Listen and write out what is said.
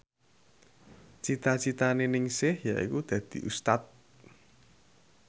cita citane Ningsih yaiku dadi Ustad